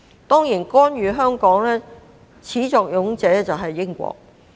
當然，干預香港事務的始作俑者是英國。